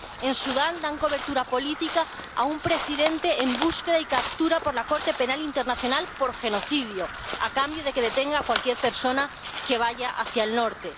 En Sudán dan cobertura política a un presidente en búsqueda y captura por la Corte Penal Internacional por genocidio, a cambio de que detenga a cualquier persona que vaya hacia el norte.